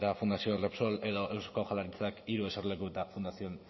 fundación repsol edo eusko jaurlaritzak hiru eserleku eta fundación